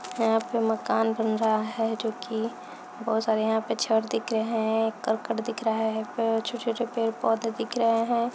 यहाँ पे मकान बन रहा है जो की बहुत सारे यहाँ पे छड़ दिख रहे हैं करकट दिख रहा है पेड़ छोटे-छोटे पेड़-पौधे दिख रहे हैं।